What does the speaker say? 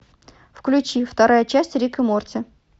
включи вторая часть рик и морти